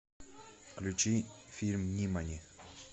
включи фильм нимани